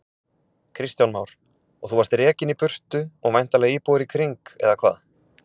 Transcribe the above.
Kristján Már: Og þú varst rekinn í burtu og væntanlega íbúar í kring, eða hvað?